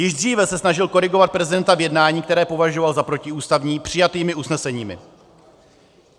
Již dříve se snažil korigovat prezidenta v jednání, které považoval za protiústavní, přijatými usneseními.